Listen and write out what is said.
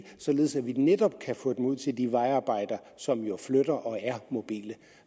således at vi netop kan få dem ud til de vejarbejder som jo flytter sig og er mobile